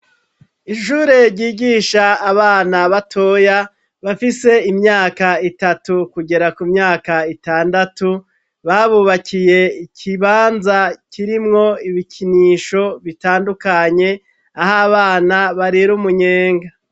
Ishure ryigisha abana batoya bafise imyaka itatu kugera ku myaka itandatu, babubakiye ikibanza kirimwo ibikinisho bitandukanye, aho abana barirumunyenga.